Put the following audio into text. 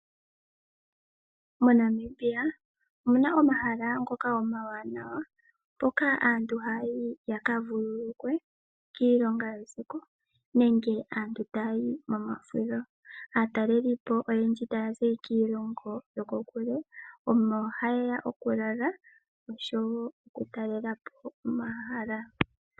MoNamibia omu na omahala ngoka omawanawa mpoka aantu haya yi ya ka vululukwe kiilonga yesiku nenge aantu taya yi momafudho. Aatalelipo oyendji taya zi kiilongo yokokule omo haye ya okulala noshowo okutalela po omahala.